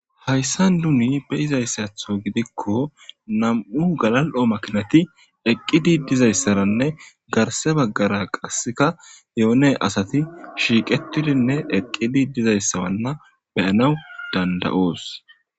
Hayssan duni be izayssatho gidikko nam7u galal7o makinati eqqidi dizayssaranne garse baggara qasseka yoone asati shiiqetidinne eqqidi dizayssaranna beyanaw danda'oos.